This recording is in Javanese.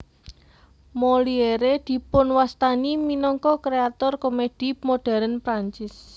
Molière dipunwastani minangka kréator komèdi modern Prancis